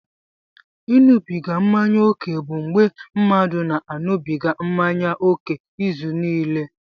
Ịṅụbiga mmanya ókè bụ mgbe mmadụ na-aṅụbiga mmanya ókè izuniile.